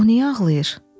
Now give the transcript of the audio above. O niyə ağlayır?